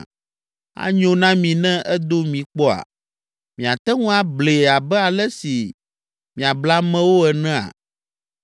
Anyo na mi ne edo mi kpɔa? Miate ŋu ablee abe ale si miable amewo enea?